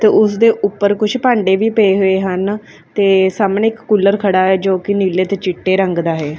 ਤੇ ਉਸਦੇ ਉੱਪਰ ਕੁੱਛ ਭਾਂਡੇ ਵੀ ਪਏ ਹੋਏ ਹਨ ਤੇ ਸਾਹਮਣੇ ਇੱਕ ਕੂਲਰ ਖੜ੍ਹਾ ਜੋ ਕਿ ਨੀਲੇ ਤੇ ਚਿੱਟੇ ਰੰਗ ਦਾ ਹੈ।